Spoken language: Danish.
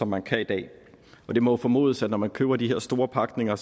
man kan i dag og det må formodes at når man køber de her store pakninger